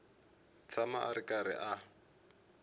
tshama a ri karhi a